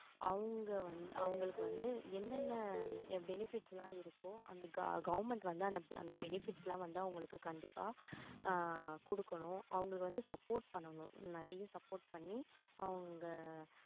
அவங்க வந்து அவங்களுக்கு வந்து என்னென்ன benefits லாம் இருக்கோ அந்த govern~government வந்து அந்த bebefits லாம் வந்து அவங்களுக்கு கண்டிப்பா ஆஹ் கொடுக்கணும் அவங்களுக்கு வந்து support பண்ணணும் நிறைய support பண்ணி அவங்க